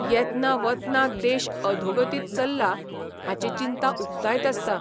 येतना वतना देश अधोगतीक चल्ला हाची चिंता उक्तायत आसता.